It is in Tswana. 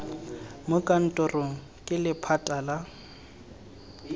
mo kantorong ke lephata la